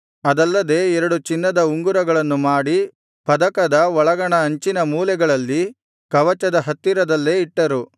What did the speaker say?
ಅದಲ್ಲದೆ ಎರಡು ಚಿನ್ನದ ಉಂಗುರಗಳನ್ನು ಮಾಡಿ ಪದಕದ ಒಳಗಣ ಅಂಚಿನ ಮೂಲೆಗಳಲ್ಲಿ ಕವಚದ ಹತ್ತಿರದಲ್ಲೇ ಇಟ್ಟರು